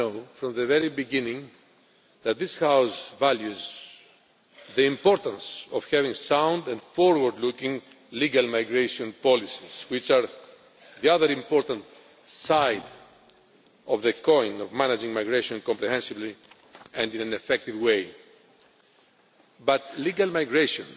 From the very beginning, this House has valued the importance of having sound and forward looking legal migration policies, which are the other important side of the coin of managing migration comprehensively and in an effective way. But legal migration